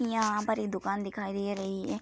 यहाँ पर एक दुकान दिखाई दे रही है।